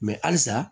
halisa